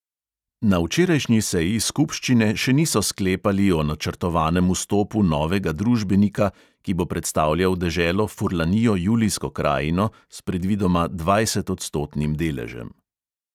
Na včerajšnji seji skupščine še niso sklepali o načrtovanem vstopu novega družbenika, ki bo predstavljal deželo furlanijo julijsko krajino s predvidoma dvajsetodstotnim deležem.